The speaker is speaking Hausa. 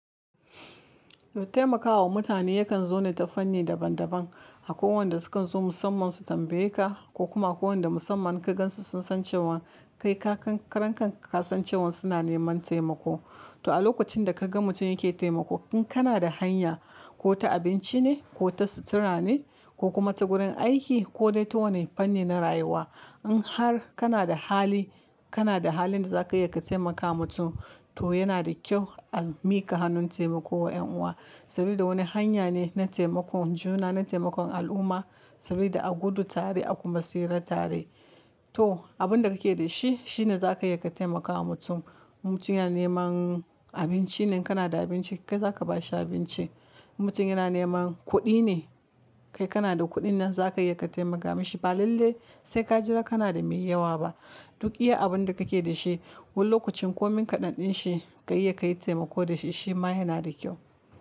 Taimakawa mutane yakan zo ne ta fanni daban-daban, a koi waƴanda sukan zo musamman su tambaye ka ko kuma ko waƴanda musamman in ka gansu sun san cewan kai ka, karan kanka ka san cewan suna neman taimako. To a lokacin da ka ga mutum yake taimako in kana da hanya ko ta abinci ne ko ta sutura ne ko kuma ta gurin aiki ko dai ta wani fanni na rayuwa. In har kana da hali, kana da halin da zaka iya ka taimaka mutum to yana da kyau a mika hannun taimako wa yan uwa. Saboda wani hanya ne na taimakon juna, na taimakon al'umma saboda a gudu tare a kuma tsira tare. To abin da kake da shi shine zaka iya ka taimakawa mutum. Mutum yana neman abinci ne kana da abinci kai zaka bashi abinci. Mutum yana neman kuɗi ne kai kana da kuɗin nan zaka iya ka taimaka mashi ba lallai sai ka jira kana da mai yawa ba. Duk iya abun da kake da shi, wani lokacin komin kaɗan ɗin shi ka iya ka yi taimako da shi shi ma yana da kyau.